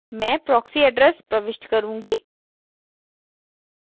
मैं proxy address प्रविष्ट करुँगी